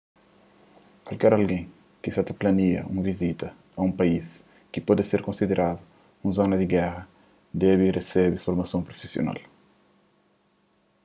kualker algen ki sa ta plania un vizita a un país ki pode ser konsideradu un zona di géra debe resebe formason prufisional